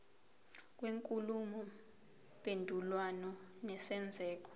kwenkulumo mpendulwano nesenzeko